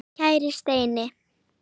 Kæri Steini.